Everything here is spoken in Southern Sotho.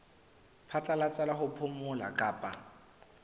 phatlalatsa la ho phomola kapa